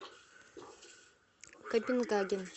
копенгаген